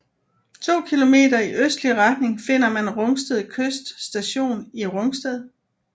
To kilometer i østlig retning finder man Rungsted Kyst Station i Rungsted